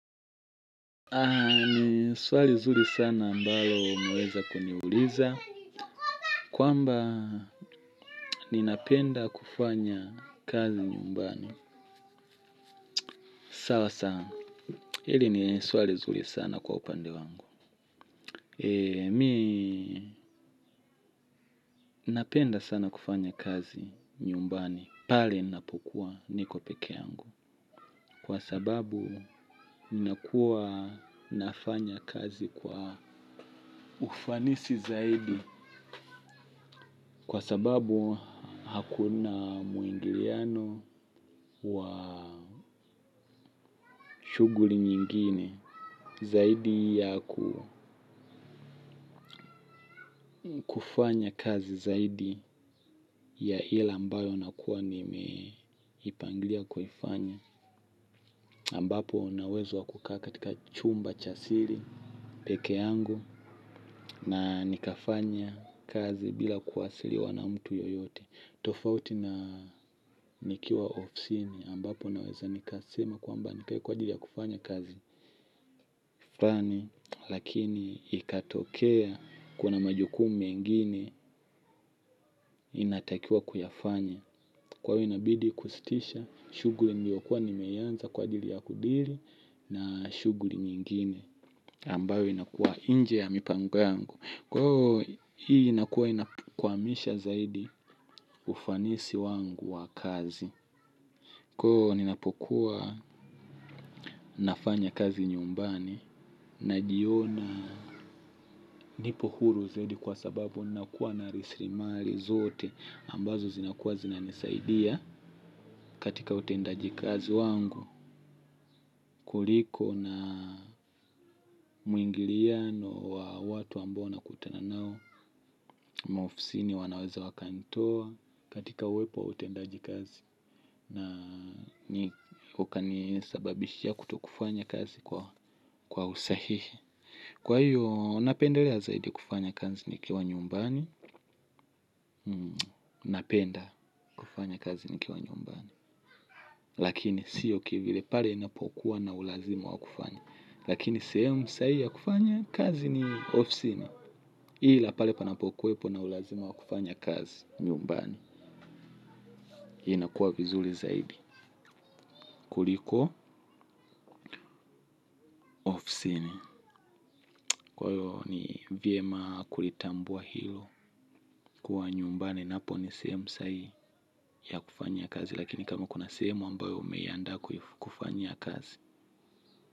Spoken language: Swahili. Ni swali zuri sana ambalo umeweza kuniuliza. Kwamba ninapenda kufanya kazi nyumbani. Sasa, hili ni swali zuri sana kwa upande wangu. Mi napenda sana kufanya kazi nyumbani. Pale napokuwa niko peke yangu. Kwa sababu ninakua nafanya kazi kwa ufanisi zaidi. Kwa sababu hakuna muingiliano wa shughuli nyingine zaidi ya kufanya kazi zaidi ya ile ambayo nakuwa nimeipangilia kufanya. Ambapo nina uwezo wa kukaa katika chumba cha siri, peke yangu na nikafanya kazi bila kuadhiriwa na mtu yoyote. Tofauti na nikiwa ofsini ambapo naweza nikasema kwamba nikae kwa ajili ya kufanya kazi ffani. Lakini ikatokea kuna majukumu mengine ninatakiwa kuyafanya. Kwa hiyo inabidi kustisha shughuli niliyokuwa nimeianza kwa ajili ya kudiri na shughuli nyingine ambayo inakuwa nje ya mipango yangu. Kwa hivo hii inakuwa ina kuhamisha zaidi ufanisi wangu wa kazi. Koo ninapokuwa nafanya kazi nyumbani najiona nipo huru zaidi kwa sababu nakuwa na rasilimali zote ambazo zinakuwa zinanisaidia katika utendaji kazi wangu kuliko na mwingiliano wa watu ambao nakutana nao maofisini wanaweza wakanitoa katika uwepo au utendaji kazi na ukanisababishia kutokufanya kazi kwa usahihi. Kwa hiyo napendelea zaidi kufanya kazi nikiwa nyumbani, napenda kufanya kazi nikiwa nyumbani. Lakini siyo kivile pale napokuwa na ulazima wa kufanya. Lakini sehemu sahii ya kufanya kazi ni ofisini. Ila pale panapokuwepo na ulazima wa kufanya kazi nyumbani. Hii inakuwa vizuri zaidi. Kuliko ofisini. Kwa hiyo ni vyema kulitambua hilo. Kwa nyumbani napo ni sehemu sahihi ya kufanya kazi. Lakini kama una sehemu ambayo umeiandaa kufanyia kazi.